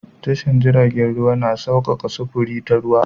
Tashar jiragen ruwa na saukaka sufuri ta ruwa.